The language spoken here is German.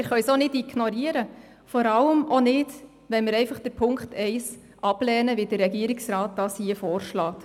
Wir können sie auch nicht ignorieren, vor allem auch nicht, wenn wir Punkt 1 einfach ablehnen, wie es der Regierungsrat hier vorschlägt.